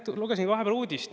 Praegu lugesin vahepeal uudist.